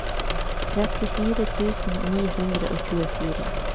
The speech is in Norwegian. trettifire tusen ni hundre og tjuefire